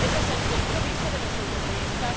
Ese es el compromiso de los europeístas.